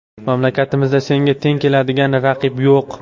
Mamlakatimizda senga teng keladigan raqib yo‘q.